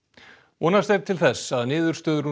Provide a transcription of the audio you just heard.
vonast er til þess að niðurstöður úr